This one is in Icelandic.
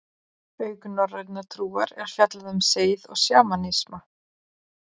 Auk norrænnar trúar er fjallað um seið og sjamanisma.